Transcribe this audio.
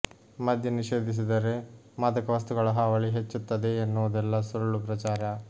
ಮದ್ಯ ನಿಷೇಧಿಸಿದರೆ ಮಾದಕ ವಸ್ತುಗಳ ಹಾವಳಿ ಹೆಚ್ಚುತ್ತದೆ ಎನ್ನುವುದೆಲ್ಲ ಸುಳ್ಳು ಪ್ರಚಾರ